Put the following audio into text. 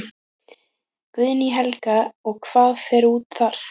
Guðný Helga: Og hvað fer út þar?